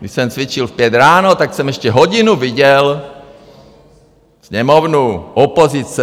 Když jsem cvičil v pět ráno, tak jsem ještě hodinu viděl Sněmovnu, opozice.